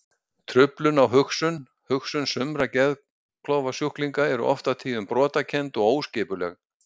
Truflun á hugsun Hugsun sumra geðklofasjúklinga er oft á tíðum brotakennd og óskipuleg.